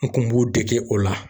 N kun b'u dege o la.